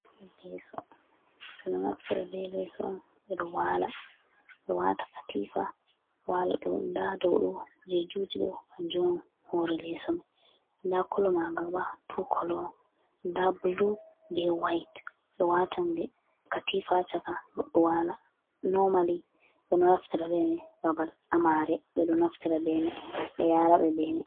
Leso, bedo naftara be leso be wala, bedo wata katifa wala dau ,doudu je juti dou on hore leso mai, da kolo maga bo tu kolon da blu be white, be watan katifa chaka goddo wala, nomali bedo naftara be mai, babal amare bedo naftara be yara be bemai.